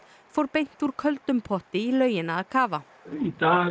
fór beint úr köldum potti í laugina að kafa í dag